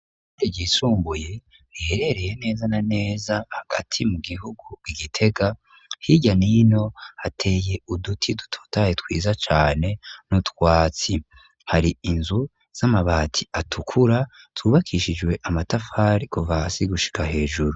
Ishuri ryisumbuye riherereye meza na neza hagati mu gihugu igitega hirya nino hateye uduti dutotaye twiza cane n'utwatsi, hari inzu z'amabati atukura tubakishijwe amatafari kuvasi gushika hejuru.